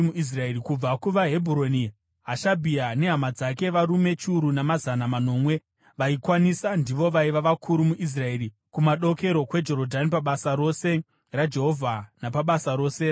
Kubva kuvaHebhuroni: Hashabhia nehama dzake, varume chiuru namazana manomwe vaikwanisa ndivo vaiva vakuru muIsraeri kumadokero kweJorodhani pabasa rose raJehovha napabasa rose ramambo.